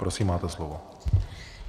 Prosím, máte slovo.